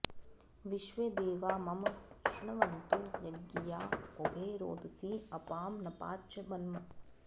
विश्वे देवा मम शृण्वन्तु यज्ञिया उभे रोदसी अपां नपाच्च मन्म